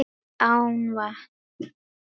Án vatns.